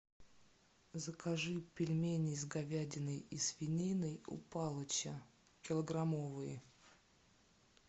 закажи пельмени с говядиной и свининой у палыча килограммовые